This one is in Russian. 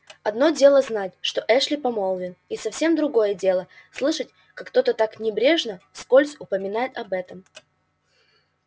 одно дело знать что эшли помолвлен и совсем другое дело слышать как кто-то так небрежно вскользь упоминает об этом